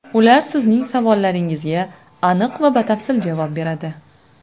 Ular sizning savollaringizga aniq va batafsil javob beradi.